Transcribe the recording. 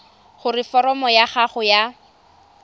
gore foromo ya gago ya